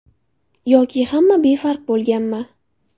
Yoki hamma befarq bo‘lganmi?